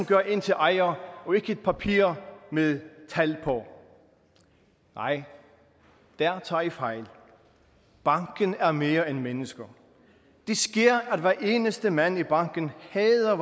gør en til ejer og ikke et papir med tal på nej der tager i fejl banken er mere end mennesker det sker at hver eneste mand i banken hader